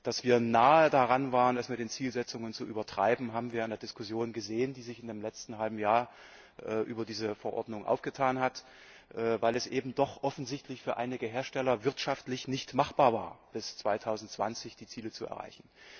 Dass wir nahe daran waren, es mit den Zielsetzungen zu übertreiben, haben wir an der Diskussion gesehen, die sich im letzten halben Jahr über diese Verordnung aufgetan hat, weil es eben doch offensichtlich für einige Hersteller wirtschaftlich nicht machbar war, bis 2020 die Ziele zu erreichen.